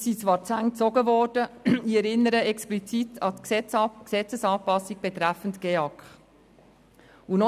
Es sind zwar Zähne gezogen worden, ich erinnere explizit an die Gesetzesanpassung betreffend den Gebäudeenergieausweis der Kantone (GEAK).